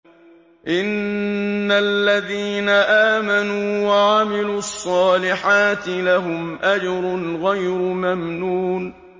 إِنَّ الَّذِينَ آمَنُوا وَعَمِلُوا الصَّالِحَاتِ لَهُمْ أَجْرٌ غَيْرُ مَمْنُونٍ